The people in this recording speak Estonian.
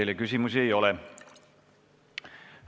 Teile küsimusi ei ole.